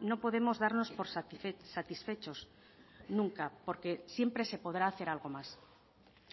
no podemos darnos por satisfechos nunca porque siempre se podrá hacer algo más